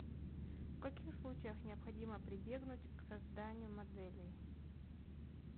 в каких случаях необходимо прибегнуть к созданию моделей